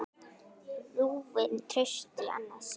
Rúin trausti í annað sinn.